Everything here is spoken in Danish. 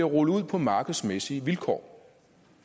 rullet ud på markedsmæssige vilkår